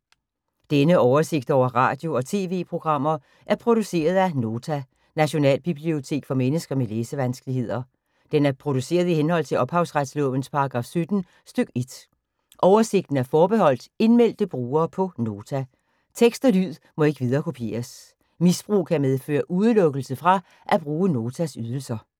Denne oversigt over radio og TV-programmer er produceret af Nota, Nationalbibliotek for mennesker med læsevanskeligheder. Den er produceret i henhold til ophavsretslovens paragraf 17 stk. 1. Oversigten er forbeholdt indmeldte brugere på Nota. Tekst og lyd må ikke viderekopieres. Misbrug kan medføre udelukkelse fra at bruge Notas ydelser.